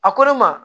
A ko ne ma